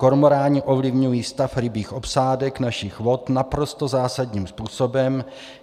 Kormoráni ovlivňují stav rybích obsádek našich vod naprosto zásadním způsobem.